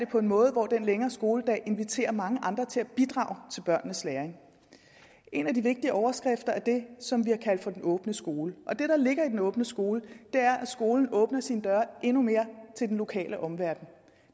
på en måde hvor den længere skoledag inviterer mange andre til at bidrage til børnenes læring en af de vigtige overskrifter er det som vi har kaldt for den åbne skole og det der ligger i den åbne skole er at skolen åbner sine døre endnu mere til den lokale omverden